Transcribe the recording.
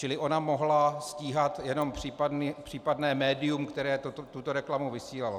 Čili ona mohla stíhat jenom případné médium, které tuto reklamu vysílalo.